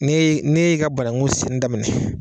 N'e ye n'e ye i ka banangu seni daminɛ